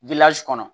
kɔnɔ